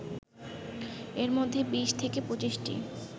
এর মধ্যে ২০ থেকে ২৫টি